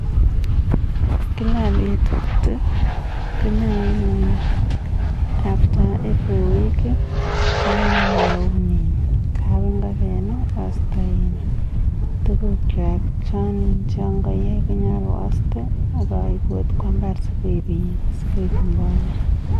After every one week konyalu aun kot ap ngokenik aiste tukuchwak akaip kopa mbar si koik mbolea.